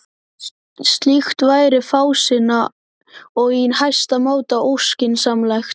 Slíkt væri fásinna og í hæsta máta óskynsamlegt.